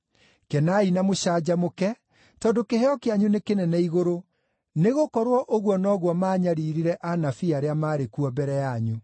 Kenai na mũcanjamũke, tondũ kĩheo kĩanyu nĩ kĩnene igũrũ, nĩgũkorwo ũguo noguo maanyariirire anabii arĩa maarĩ kuo mbere yanyu.